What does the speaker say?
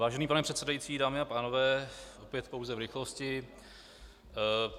Vážený pane předsedající, dámy a pánové, opět pouze v rychlosti.